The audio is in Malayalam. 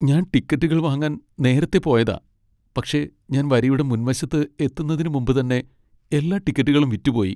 ഞാൻ ടിക്കറ്റുകൾ വാങ്ങാൻ നേരത്തെ പോയതാ പക്ഷേ ഞാൻ വരിയുടെ മുൻവശത്ത് എത്തുന്നതിനുമുമ്പ് തന്നെ എല്ലാ ടിക്കറ്റുകളും വിറ്റുപോയി.